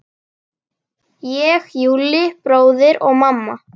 Ég, Júlli bróðir og mamma.